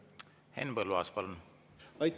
Henn Põlluaas, palun!